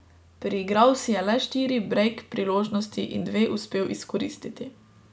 Priigral si je le štiri brejk priložnosti in dve uspel izkoristiti.